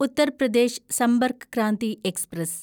Uttar Pradesh Sampark Kranti express